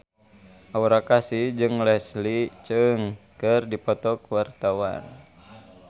Aura Kasih jeung Leslie Cheung keur dipoto ku wartawan